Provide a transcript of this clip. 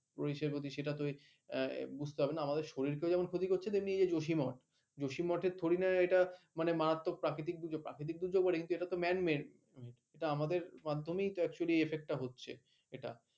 সেটা তো বুঝতে হবে না আমাদের শরীর কেও যেমন ক্ষতি করছে তেমনি মানে মারাত্মক প্রাকৃতিক দুর্যোগ প্রাকৃতিক দুর্যোগ এটা তো man made তা আমাদের মাধ্যমিক actually affect টা হচ্ছে এটা